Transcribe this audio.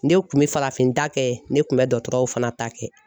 Ne kun bɛ farafin da kɛ ne kun bɛ dɔkɔtɔrɔw fana ta kɛ.